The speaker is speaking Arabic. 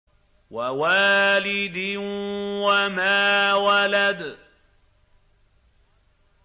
وَوَالِدٍ وَمَا وَلَدَ